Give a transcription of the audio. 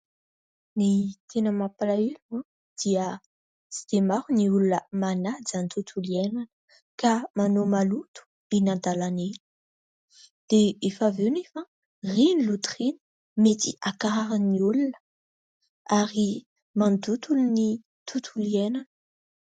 Ny tena mampalahelo a ! Dia tsy dia maro ny olona manaja ny tontolo iainana ka manao maloto eny an-dalana eny ; dia efa avy eo nefa a ! Ireny loto ireny mety hankarary ny olona ary mandoto ny tontolo iainana.